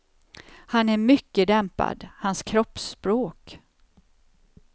Han är mycket dämpad, hans kroppsspråk.